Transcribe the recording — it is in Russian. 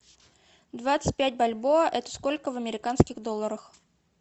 двадцать пять бальбоа это сколько в американских долларах